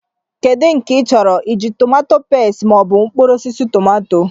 Kedu nke ị chọrọ I ji, tomato peste mọọbụ mkpụrụosisi tọmatọ?